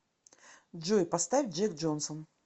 джой поставь джек джонсон